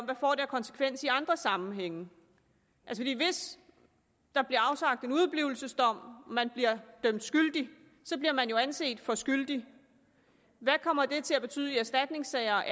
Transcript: det får af konsekvens i andre sammenhænge hvis der bliver afsagt en udeblivelsesdom og man bliver dømt skyldig bliver man jo anset for at være skyldig hvad kommer det til at betyde i erstatningssager og